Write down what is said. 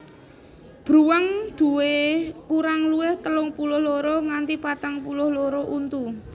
Bruwang nduwé kurang luwih telung puluh loro nganti patang puluh loro untu